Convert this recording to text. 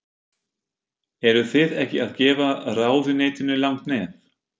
Eruð þið ekki að gefa ráðuneytinu langt nef?